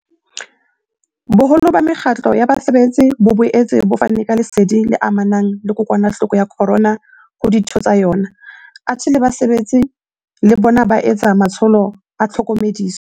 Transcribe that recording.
Boholo ba mekgatlo ya basebetsi bo boetse bo fana ka lesedi le amanang le kokwanahloko ya corona ho ditho tsa yona, athe le basebetsi le bona ba etsa matsholo a tlhokomediso.